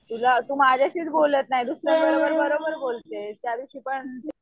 तुला तू माझ्याशीच बोलत नाही दुसऱ्याशी बरोबर बोलते त्यादिवशी पण